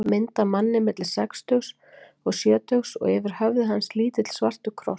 Mynd af manni milli sextugs og sjötugs og yfir höfði hans lítill svartur kross.